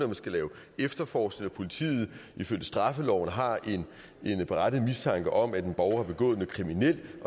man skal lave efterforskning og når politiet ifølge straffeloven har en berettiget mistanke om at en borger har begået noget kriminelt